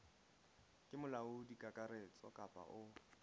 ke molaodi kakaretso kapa o